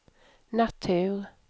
natur